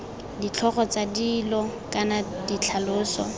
ditlhogo tsa dilo kana ditlhaloso